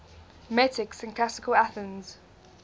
metics in classical athens